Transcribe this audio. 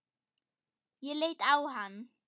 Ég leit á hann.